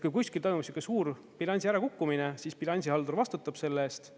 Kui kuskil toimub suur bilansi ärakukkumine, siis bilansihaldur vastutab selle eest.